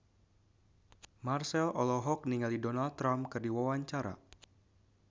Marchell olohok ningali Donald Trump keur diwawancara